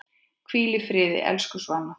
Hvíldu í friði, elsku Svana.